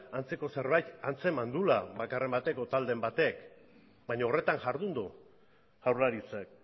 antzeko zerbait antzeman duela bakarren batek edo taldeen batek baino horretan jardun du jaurlaritzak